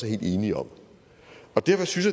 helt enige om derfor synes